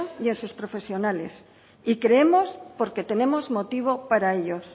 y en sus profesionales y creemos porque tenemos motivo para ello